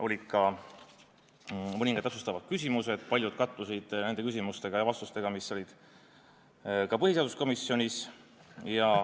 Olid mõningad täpsustavad küsimused, millest paljud kattusid nende küsimuste ja vastustega, mis olid ka põhiseaduskomisjonis.